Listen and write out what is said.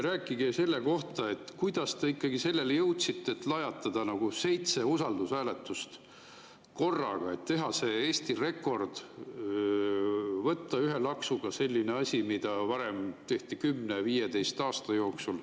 Rääkige selle kohta, kuidas te ikkagi jõudsite selleni, et lajatada nagu seitse usaldushääletust korraga, teha Eesti rekord, teha ühe laksuga selline asi, mida varem tehti 10–15 aasta jooksul.